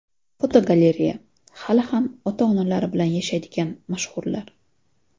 Fotogalereya: Hali ham ota-onalari bilan yashaydigan mashhurlar.